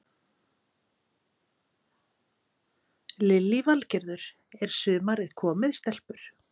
Lillý Valgerður: Er sumarið komið stelpur?